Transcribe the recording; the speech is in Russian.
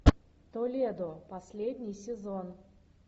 толедо последний сезон